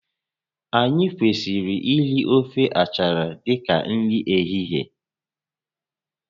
Anyị kwesịrị iri ofe achala dịka nri ehihie